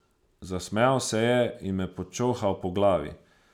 Zasmejal se je in me počohal po glavi.